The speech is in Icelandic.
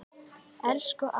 Elsku amma!